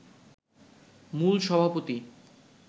মূল সভাপতি